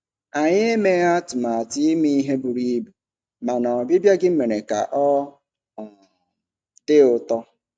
Anyị emeghị atụmatụ ime ihe buru ibu, mana ọbịbịa gị mere ka ọ um dị ụtọ.